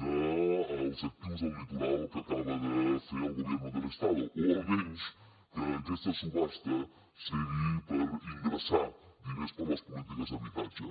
dels actius del litoral que acaba de fer el gobierno del estado o almenys que aquesta subhasta sigui per ingressar diners per a les polítiques d’habitatge